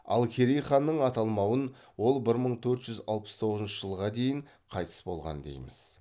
ал керей ханның аталмауын ол бір мың төрт жүз алпыс тоғызыншы жылға дейін қайтыс болған дейміз